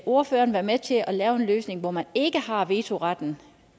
ordføreren være med til at lave en løsning hvor man ikke har vetoretten